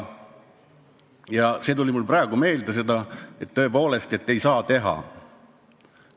Ja see tuli mul praegu meelde, et seda tõepoolest ei saa teha.